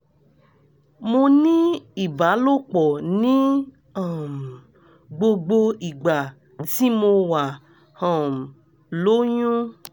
mo ní ìbálòpọ̀ ní um gbogbo ìgbà tí mo wà um lóyún